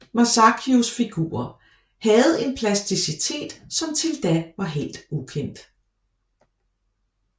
Masaccios figurer havde en plasticitet som til da var helt ukendt